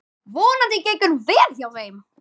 Vonandi gengur vel hjá þeim.